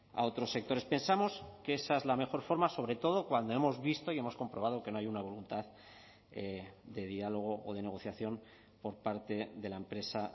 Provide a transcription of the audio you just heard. a otros sectores pensamos que esa es la mejor forma sobre todo cuando hemos visto y hemos comprobado que no hay una voluntad de diálogo o de negociación por parte de la empresa